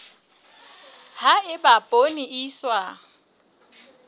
ha eba poone e iswa